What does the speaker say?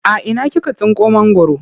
A ina kika tsinko mangwaro?